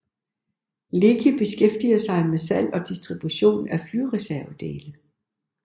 Leki beskæftiger sig med salg og distribution af flyreservedele